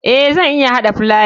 Eh zan iya hada filaya.